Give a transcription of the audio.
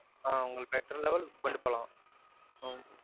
ஆஹ் உங்களுக்கு better level கொண்டு போலாம்.